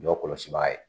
Jɔ kɔlɔsiba ye